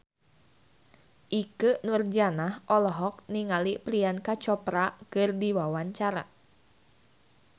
Ikke Nurjanah olohok ningali Priyanka Chopra keur diwawancara